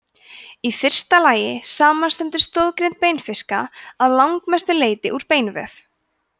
í fyrsta lagi samanstendur stoðgrind beinfiska að langmestu leyti úr beinvef